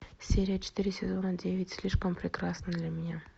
серия четыре сезона девять слишком прекрасна для меня